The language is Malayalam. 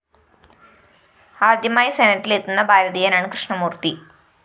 ആദ്യമായി സെനറ്റിലെത്തുന്ന ഭാരതീയനാണ് കൃഷ്ണമൂര്‍ത്തി